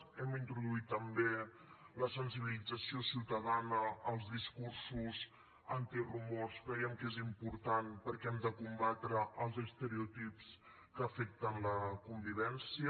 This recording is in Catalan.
hem introduït també la sensibilització ciutadana als discursos antirumors creiem que és important perquè hem de combatre els estereotips que afecten la convivència